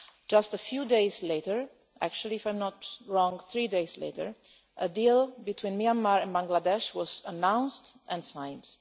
Just a few days later, actually, if I am not wrong, three days later a deal between Myanmar and Bangladesh was announced and signed.